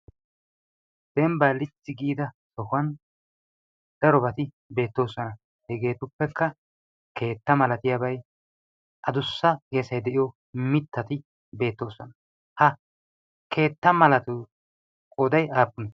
denba lichi giida sohuwan darobati beettoosona hegeetuppekka keetta malatiyaabay adussa geesay de'iyo mittati beettoosona ha keetta malatu qooday aappun